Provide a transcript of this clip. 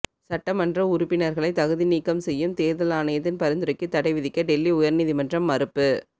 சட்டமன்ற உறுப்பினர்களை தகுதி நீக்கம் செய்யும் தேர்தல் ஆணையத்தின் பரிந்துரைக்கு தடை விதிக்க டெல்லி உயர்நீதிமன்றம் மறுப்பு